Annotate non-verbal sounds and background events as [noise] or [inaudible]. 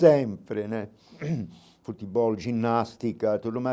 Sempre né, [coughs] futebol, ginástica, tudo mais.